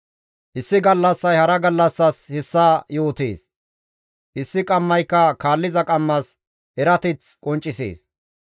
Issi gallassay hara gallassas hessa yootees; issi qammayka kaalliza qammas erateth qonccisees.